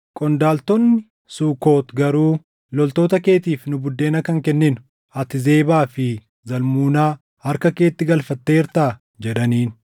Qondaaltonni Sukoot garuu, “Loltoota keetiif nu buddeena kan kenninu ati Zebaa fi Zalmunaa harka keetti galfatteertaa?” jedhaniin.